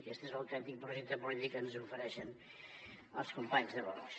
aquest és l’autèntic projecte polític que ens ofereixen els companys de vox